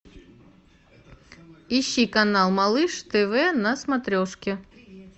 ищи канал малыш тв на смотрешке